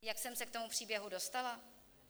Jak jsem se k tomu příběhu dostala?